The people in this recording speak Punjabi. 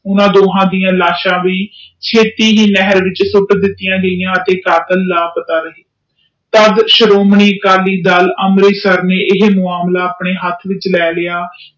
ਓਹਨਾ ਡਾ ਲਾਸ਼ ਵੀ ਛੇਤੀ ਹੀ ਨਹਿਰ ਵਿਚ ਸੁਤ ਦਿਤੀਆਂ ਗਿਆ ਅਤੇ ਕਤਲ ਦਾ ਪਤਾ ਨਾ ਲੱਗਿਆ ਤਾ ਸ਼੍ਰੋਮਣੀ ਦਲ ਦੇ ਅਫਸਰ ਨੇ ਅਮ੍ਰਿਤੜ=ਸਰ ਦੇ ਹਨ ਇਹ ਮਾਮਲਕ ਆਪਣੇ ਹੇਠ ਲੈ ਲੈ ਆ